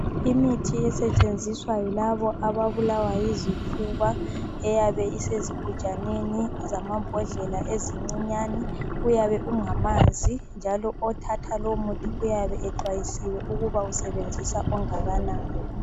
Imithi esetshenziswa yilabo ababulawa yizifuba eyane isezigujaneni zamambodlela ezincinyane. Uyabe ungamanzi njalo othatha lo muthi uyabe exwayisiwe ukuba usebenzisa ongakanani.